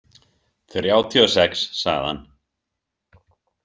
Þrjátíu og sex, sagði hann.